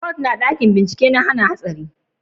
kwat na dakin bincike na hana hatsari